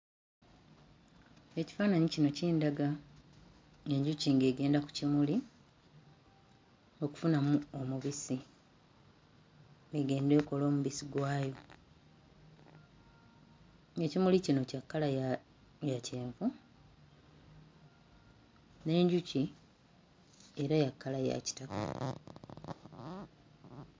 Ekifaananyi kino kindaga enjuki ng'egenda ku kimuli okufunamu omubisi egende ekole omubisi gwayo, ng'ekimuli kino kya kkala ya kyenvu, n'enjuki era era ya kkala ya kitakataka.